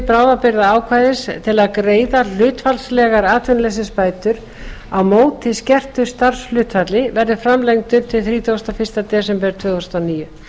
bráðabirgðaákvæðis til að greiða hlutfallslegar atvinnuleysisbætur á móti skertu starfshlutfalli verði framlengdur til þrítugasta og fyrsta desember tvö þúsund og níu